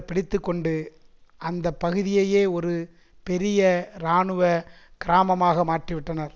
பிடித்து கொண்டு அந்த பகுதியையே ஒரு பெரிய இராணுவ கிராமமாக மாற்றிவிட்டனர்